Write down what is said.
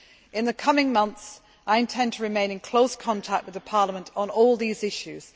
In the coming months, I intend to remain in close contact with Parliament on all these issues.